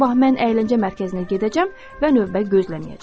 Sabah mən əyləncə mərkəzinə gedəcəm və növbə gözləməyəcəm.